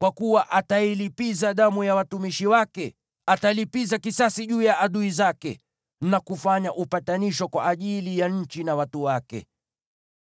kwa kuwa atailipiza damu ya watumishi wake, atalipiza kisasi juu ya adui zake na kufanya upatanisho kwa ajili ya nchi na watu wake.